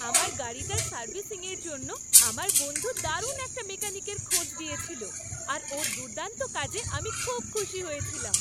আমার গাড়িটার সার্ভিসিংয়ের জন্য আমার বন্ধু দারুণ একটা মেকানিকের খোঁজ দিয়েছিল আর ওর দুর্দান্ত কাজে আমি খুব খুশি হয়েছিলাম।